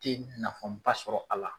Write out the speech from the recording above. Tɛ nafaba sɔrɔ a la.